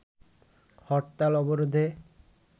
হরতাল-অবরোধে